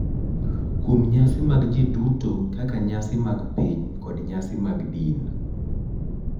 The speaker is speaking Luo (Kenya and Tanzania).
Kuom nyasi mag ji duto kaka nyasi mag piny kod nyasi mag din.